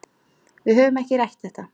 Við höfum ekki rætt þetta.